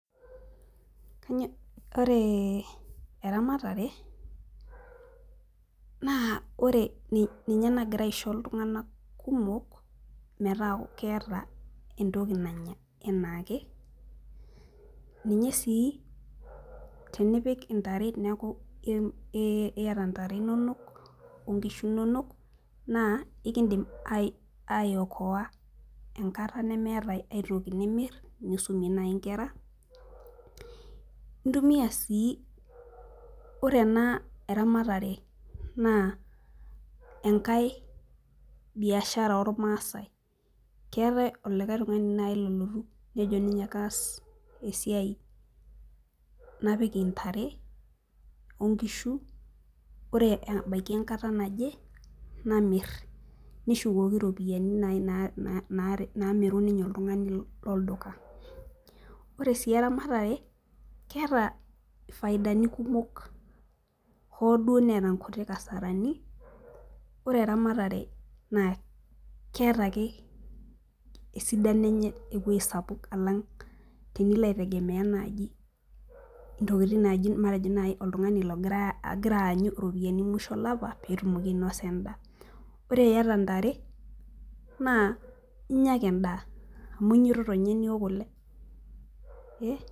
Ore eramatare naa ninye nagira aisho iltung'anak kumok metaa keeta entoki nanya enaake ninye sii tenipik ntare neeku iata ntare inonok onnkishu inonok naa kiidim aiokoa enkata neemtai aitoki naai nimirr nisumie naai nkera intumiaa sii ore ena eramatere naa enkae biashara ormaasai keetai olikae tung'ani naai lolotu nejo kaas esiai napik ntare onkishu ore ebaiki enkata naje namirr neshukoki iropiyiani naai naamiru ninye oltung'ani lolduka, ore sii eramatare keeta faidani kumok hoo duo neeta nkuti kasarani ore eramatare naa keeta ake esidano enye ewuei sapuk alang' tenilo aitegemea naaji ntokitin naaji matejo naai oltung'ani ogira aanyu iropiyaini emusho olapa pee enya endaa ore ntare naa inya ake endaa amu inyiototo ninye niok kule.